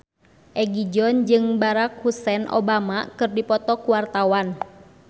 Egi John jeung Barack Hussein Obama keur dipoto ku wartawan